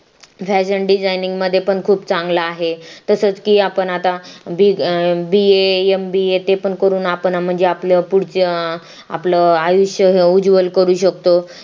fashion designing मध्ये पण खूप चांगला आहे तसेच की आपण आता BAMBA ते पण करून आपण म्हणजे आपल पुढच आपलं आयुष्य हे उज्वल करू शकतो